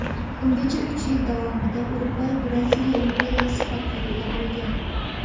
Ungacha uch yil davomida Urugvay Braziliya imperiyasi tarkibida bo‘lgan.